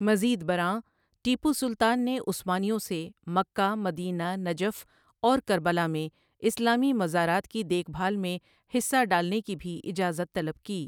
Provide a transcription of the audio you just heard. مزید برآں، ٹیپو سلطان نے عثمانیوں سے مکہ، مدینہ، نجف اور کربلا میں اسلامی مزارات کی دیکھ بھال میں حصہ ڈالنے کی بھی اجازت طلب کی۔